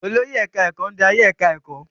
Olórí ẹ̀káá-ẹ̀kọ́ ń darí ẹ̀ká ẹ̀kọ́